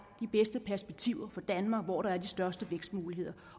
de bedste perspektiver for danmark og hvor der er de største vækstmuligheder